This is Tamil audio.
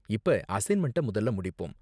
இப்ப அசைன்மெண்ட்ட முதல்ல முடிப்போம்.